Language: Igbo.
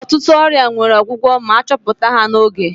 Ụtụtụ ọrịa nwere ọgwụgwụ ma achọpụta ha n'oge.